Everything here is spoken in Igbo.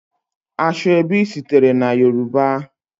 Ashọebi sitere na Yoruba.